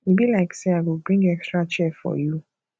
e be like sey i go bring extra chair for you